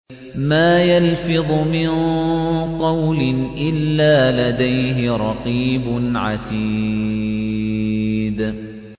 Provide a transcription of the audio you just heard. مَّا يَلْفِظُ مِن قَوْلٍ إِلَّا لَدَيْهِ رَقِيبٌ عَتِيدٌ